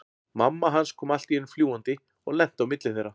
Mamma hans kom allt í einu fljúgandi og lenti á milli þeirra.